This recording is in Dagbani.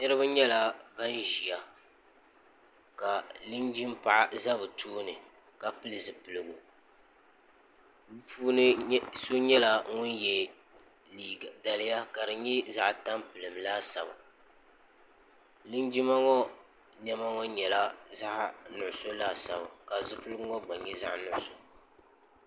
niraba nyɛla ban ʒiya ka linjin paɣa ʒɛ bi tooni ka pili zipiligu bi puuni so nyɛla ŋun yɛ daliya ka di nyɛ zaɣ tampilim laasabu linjima ŋo niɛma ŋo nyɛla zaɣ nuɣso laasabu ka zipiligu ŋo gba nyɛ zaɣ nuɣso